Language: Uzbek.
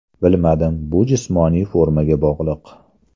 Bilmadim, bu jismoniy formaga bog‘liq.